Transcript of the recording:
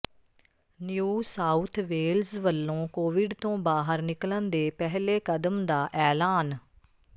new South Wales ਵਲੋਂ Covid ਤੋਂ ਬਾਹਰ ਨਿੱਕਲਣ ਦੇ ਪਹਿਲੇ ਕਦਮ ਦਾ ਐਲਾਨ